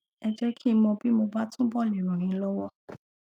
ẹ jẹ kí n mọ bí mo bá túbọ le ràn yín lọwọ